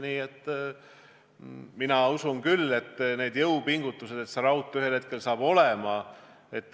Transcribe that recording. Nii et mina usun küll, et tehakse jõupingutusi, et see raudtee saaks ühel hetkel olema.